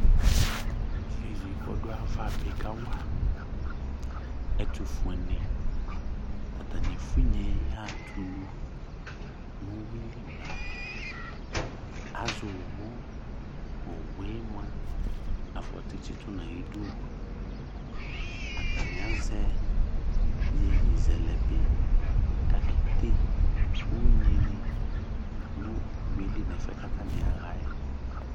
Iyeye kɔ dʋ ayava bɩ ka wa ɛtʋ fue nɩ ,atanɩ efuinye yaɣatulu nowue li blamɛAzɛ owu, owue mʋa, afɔtɩ tsɩtʋ nayiduAtanɩ azɛ iyeye zɛlɛ bɩ kakede unyi nɩ nʋ uyuie li nɛfɛ katanɩ aɣa yɛ